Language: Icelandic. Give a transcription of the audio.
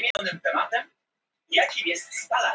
mismunandi er eftir stöðum hvor aðferðin er notuð